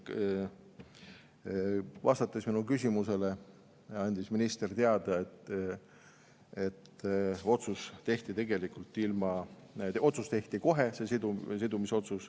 Vastates minu küsimusele, andis minister teada, et see sidumisotsus tehti kohe.